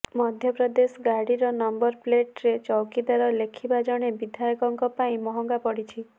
ମଧ୍ୟପ୍ରଦେଶ ଗାଡିର ନମ୍ବର ପ୍ଲେଟରେ ଚୌକିଦାର ଲେଖିବା ଜଣେ ବିଧାୟକଙ୍କ ପାଇଁ ମହଙ୍ଗା ପଡିଛି